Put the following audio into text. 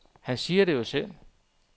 Han siger det jo selv.